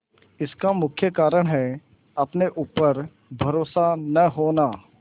इसका मुख्य कारण है अपने ऊपर भरोसा न होना